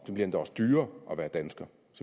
og endda også dyrere at være dansker